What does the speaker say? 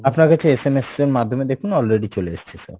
আপনার কাছে SMS এর মাধ্যমে দেখুন already চলে এসছে sir